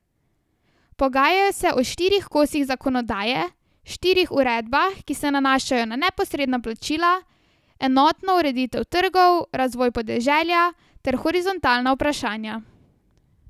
Pogajajo se o štirih kosih zakonodaje, štirih uredbah, ki se nanašajo na neposredna plačila, enotno ureditev trgov, razvoj podeželja ter horizontalna vprašanja.